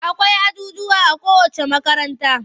Akwai ajujjuwa a kowacce makaranta.